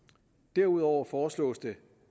derudover foreslås det